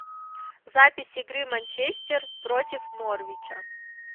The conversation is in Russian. запись игры манчестер против норвича